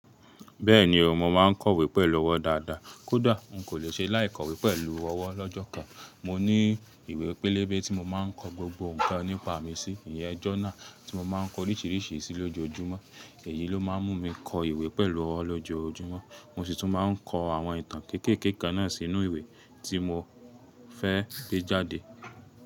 Bẹ́ẹ̀ni o, mo ma ń kọ̀wé pẹ̀lú ọwọ́ dáadáa. Kódà, n kò lè ṣe láì kọ̀wé pẹ̀lú ọwọ́ lọ́jọ́ kan. Mo ní ìwé pélébé tí mo ma ń kọ gbogbo nǹkan nípa mi sí. Ìyẹ́n journal tí mo ma ń kọ oríṣìíríṣìí sí lójoojúmọ́. Èyí ló ma ń mú mi kọ ìwé pẹ̀lú ọwọ́ lójoojúmọ́. Mo sì tún má ń kọ àwọn ìtàn kéékèèké kan náà sínú ìwé tí mo fẹ́ gbé jáde.